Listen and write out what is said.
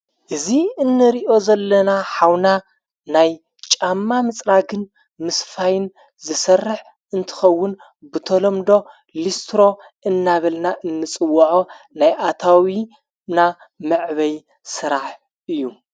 እዙ እንሪእዮ ዘለና ኃውና ናይ ጫማ ምጽራግን ምስ ፋይን ዝሠርሕ እንትኸውን ብተሎምዶ ልስትሮ እናበልና እንጽወዖ ናይ ኣታዊምና መዕበይ ሥራሕ እዩ።